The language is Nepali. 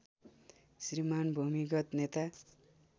श्रीमान् भूमिगत नेता